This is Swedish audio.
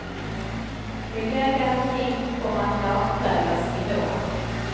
Miljögarantin kommer att lagprövas i vår.